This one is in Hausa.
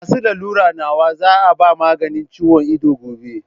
Masu lalura nawa za a ba maganin ciwon ido gobe?